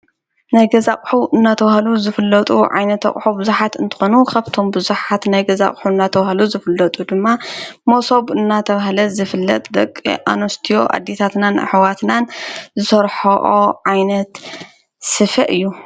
ነይ ገዛቕሑ እናተዉሃሉ ዝፍለጡ ዓይነት ኣቕሖ ብዙኃት እንተኾኑ ኸብቶም ብዙኃት ነይ ገዛቕሑ እናተዉሃሉ ዝፍለጡ ድማ ሞሶቡ እናተውሃለት ዝፍለጥ ደቂ ኣኖስትዎ ኣዲታትናን ኣኅዋትናን ሠርሖኦ ዓይነት ስፈ እዩ።